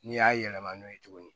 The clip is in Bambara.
N'i y'a yɛlɛma n'o ye tuguni